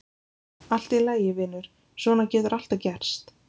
Allt í lagi, vinur, svona getur alltaf gerst.